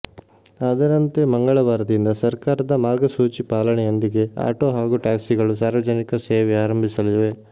ಅದರಂತೆ ಮಂಗಳವಾರದಿಂದ ಸರ್ಕಾರದ ಮಾರ್ಗಸೂಚಿ ಪಾಲನೆಯೊಂದಿಗೆ ಆಟೋ ಹಾಗೂ ಟ್ಯಾಕ್ಸಿಗಳು ಸಾರ್ವಜನಿಕ ಸೇವೆ ಆರಂಭಿಸಲಿವೆ